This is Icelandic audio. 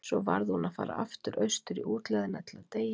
Svo varð hún að fara aftur austur í útlegðina til að deyja.